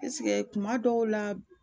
kuma dɔw la